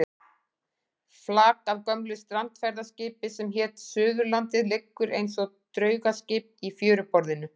Flak af gömlu strandferðaskipi sem hét Suðurlandið liggur eins og draugaskip í fjöruborðinu.